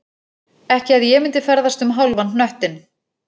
Ekki að ég myndi ferðast um hálfan hnöttinn